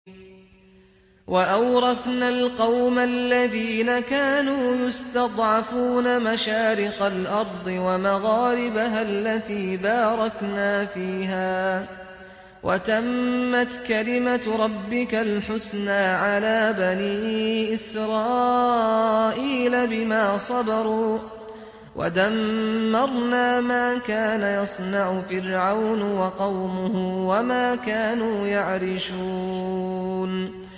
وَأَوْرَثْنَا الْقَوْمَ الَّذِينَ كَانُوا يُسْتَضْعَفُونَ مَشَارِقَ الْأَرْضِ وَمَغَارِبَهَا الَّتِي بَارَكْنَا فِيهَا ۖ وَتَمَّتْ كَلِمَتُ رَبِّكَ الْحُسْنَىٰ عَلَىٰ بَنِي إِسْرَائِيلَ بِمَا صَبَرُوا ۖ وَدَمَّرْنَا مَا كَانَ يَصْنَعُ فِرْعَوْنُ وَقَوْمُهُ وَمَا كَانُوا يَعْرِشُونَ